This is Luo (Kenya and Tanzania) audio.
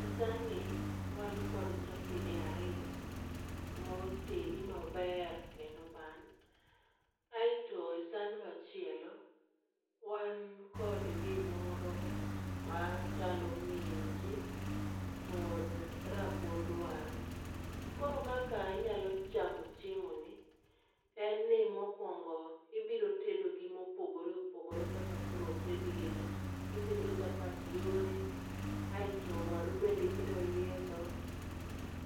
E san ni wan kod chapede ariyo motedi maber kendo oban. Aeto e san machielo wan kod gimoro machalo minji kod rabuond waru. Koro kaka inyalo chamo chiemo ni en ni mokuongo ibiro tedo gi mopogore opogore kaka koro oted gi ni. Itedo chapat yore aito waru bende ibiro yiedho.